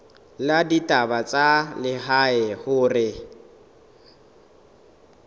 la ditaba tsa lehae hore